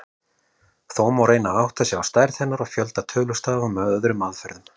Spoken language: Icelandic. Þó má reyna að átta sig á stærð hennar og fjölda tölustafa með öðrum aðferðum.